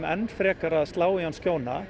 enn frekar að slá í hann